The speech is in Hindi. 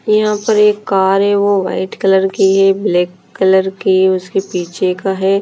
यहाँ पे एक कार है वो वाइट कलर की है ब्लैक कलर की उसके पीछे का है।